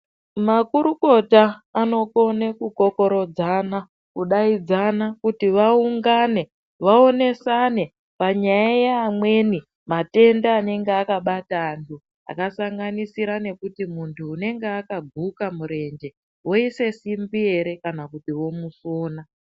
Makurukota anokone kukokorodzana, kudaidzana ,kuti vaungane, vaonesane panyaya yeamweni matenda anenga akabatwa antu, akasanganisira nekuti muntu unenga akaguka murenje ,voise simbi ere, kana kuti vomusona.